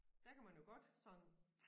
Der kan man jo godt sådan